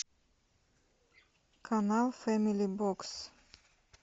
канал фэмили бокс